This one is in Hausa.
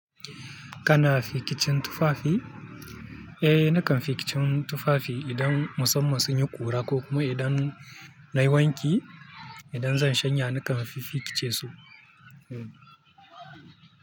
Kana fikicin tufafi? Nakan fikicin tufafi idan musamman sun yi ƙura ko kuma idan na yi wanki, idan zan shanya nakan fi fikice su.